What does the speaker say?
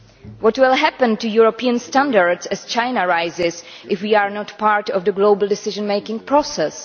What will happen to European standards as China rises if we are not part of the global decision making process?